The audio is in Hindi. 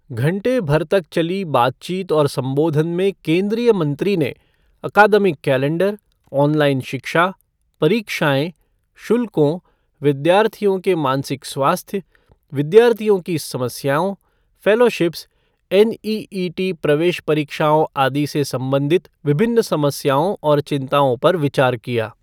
घंटे भर तक चली बातचीत और सम्बोधन में केंद्रीय मंत्री ने अकादमिक कैलेंडर, ऑनलाइन शिक्षा, परीक्षाएं, शुल्कों, विद्यार्थियों के मानसिक स्वास्थ्य, विद्यार्थियों की समस्याओं, फ़ेलोशिप्स, एनईईटी, प्रवेश परीक्षओं आदि से संबंधित विभिन्न समस्याओं और चिंताओं पर विचार किया।